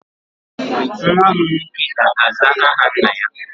Nwa m nwoke ga-aza aha nna-ya